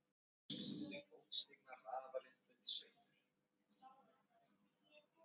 Þeir þustu að ljósberanum sem rýndi út í nóttina en sáu ekkert kvikt.